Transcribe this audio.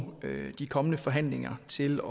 de kommende forhandlinger til